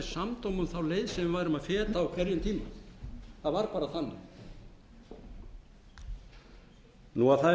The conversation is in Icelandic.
samdóma um þá leið sem við værum að feta á hverjum tíma það var bara þannig það er